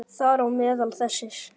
Þar á meðal þessir